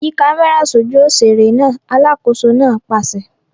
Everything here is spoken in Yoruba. Yí kámẹ́rà sójú òṣèré náà! Alákòóso náà pàṣẹ.